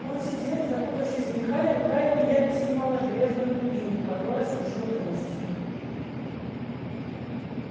он сидел закутавшись в меха и рука его нервно сжимала железную дубинку которая служила тростью